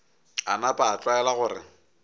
a napa a tlwaela gore